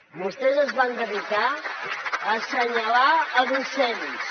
vostès es van dedicar a assenyalar docents